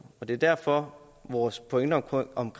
og det er derfor vores pointe om